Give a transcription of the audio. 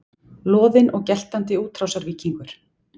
Loðinn og geltandi útrásarvíkingur